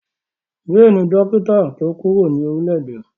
Jay ni dókítà tí o kuro nio